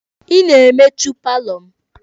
Ị na-emechu paalọ m!